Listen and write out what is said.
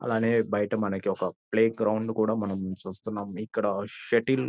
అలానే బయట మనకి ఒక ప్లే గ్రౌండ్ కూడా మనం చూస్తున్నాం ఇక్కడ సెటిల్ --